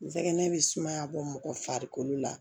N sɛgɛn bɛ sumaya bɔ mɔgɔ farikolo la